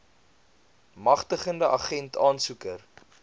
magtigende agent aansoeker